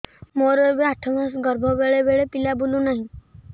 ମୋର ଏବେ ଆଠ ମାସ ଗର୍ଭ ବେଳେ ବେଳେ ପିଲା ବୁଲୁ ନାହିଁ